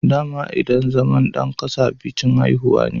Dama idan zama dan kasa bikin haihuwa ne